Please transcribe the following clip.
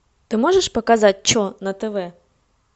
ты можешь показать че на тв